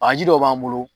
A ji dɔ b'an bolo